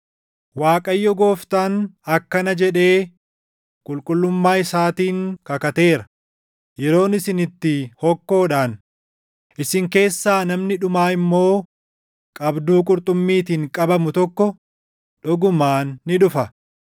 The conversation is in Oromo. Waaqayyo Gooftaan akkana jedhee // qulqullummaa isaatiin kakateera: “Yeroon isin itti hokkoodhaan, isin keessaa namni dhumaa immoo qabduu qurxummiitiin qabamu tokko dhugumaan ni dhufa.